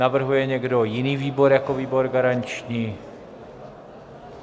Navrhuje někdo jiný výbor jako výbor garanční?